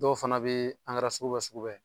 Dɔw fana bɛ ankɛra sugu bɛ sugu bɛ.